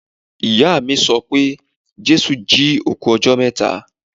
Ìyáà mi sọ pé Jésù jí òkú ọjọ́ mẹ́ta.